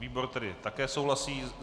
Výbor tedy také souhlasí.